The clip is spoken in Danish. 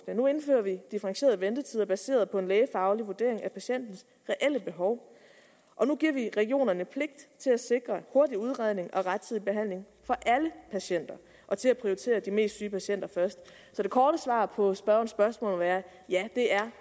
nu indfører vi differentierede ventetider baseret på en lægefaglig vurdering af patientens reelle behov og nu giver vi regionerne pligt til at sikre hurtig udredning og rettidig behandling for alle patienter og til at prioritere de mest syge patienter først så det korte svar på spørgerens spørgsmål er ja det er